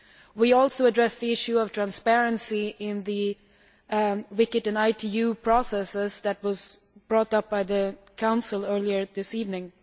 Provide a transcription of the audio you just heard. We also addressed the issue of transparency in the WCIT and ITU processes that was brought up by the Council earlier this evening.